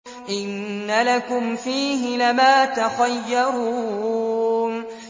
إِنَّ لَكُمْ فِيهِ لَمَا تَخَيَّرُونَ